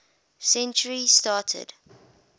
century started